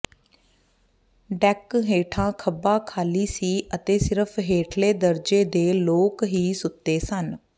deck ਹੇਠਾਂ ਖੱਬਾ ਖਾਲੀ ਸੀ ਅਤੇ ਸਿਰਫ ਹੇਠਲੇ ਦਰਜੇ ਦੇ ਲੋਕ ਹੀ ਸੁੱਤੇ ਸਨ